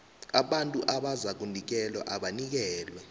abantu abazakunikelwa abanikelwe